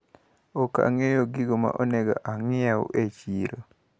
Okang`eyo gigo ma onego anyiew e chiro.